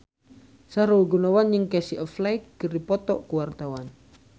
Sahrul Gunawan jeung Casey Affleck keur dipoto ku wartawan